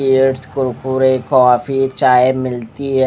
पुरे कॉफ़ी चाये मिलती है।